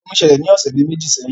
Ìjà omi ṣẹlẹ̀ ni ọ̀sẹ̀ bi meji sẹ́yìn